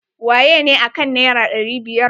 Wayene akan naira ɗari biyar?